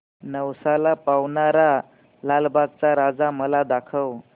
नवसाला पावणारा लालबागचा राजा मला दाखव